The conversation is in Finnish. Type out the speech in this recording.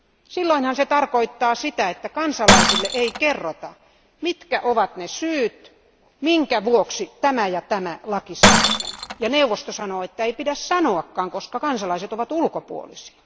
Silloinhan se tarkoittaa sitä, että kansalaisille ei kerrota, mitkä ovat ne syyt, minkä vuoksi tämä ja tämä laki säädetään, ja neuvosto sanoo, että ei pidä sanoakaan, koska kansalaiset ovat ulkopuolisia.